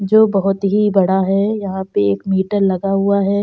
जो बहोत ही बड़ा है। यहाँ पे एक मीटर लगा हुआ है।